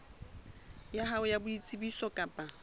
ya hao ya boitsebiso kapa